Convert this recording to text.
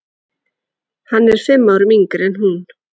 Hann er fimm árum yngri en hún.